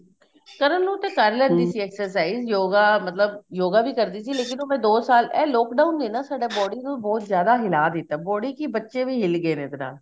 ਕਰਨ ਨੂੰ ਤਾਂ ਕਰ ਸੀ exercise yoga ਮਤਲਬ yoga ਵੀ ਕਰਦੀ ਸੀ ਲੇਕਿਨ ਉਹ ਮੈਂ ਦੋ ਸਾਲ ਇਹ lockdown ਨੇ ਸਾਡੀ body ਨੂੰ ਬਹੁਤ ਜਿਆਦਾ ਹਿਲਾ ਦਿੱਤਾ body ਕਿ ਬੱਚੇ ਵੀ ਹਿਲ ਗੇ ਨੇ ਇਹਦੇ ਨਾਲ